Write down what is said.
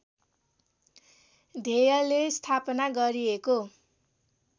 ध्येयले स्थापना गरिएको